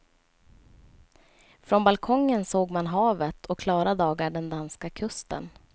Från balkongen såg man havet och klara dagar den danska kusten.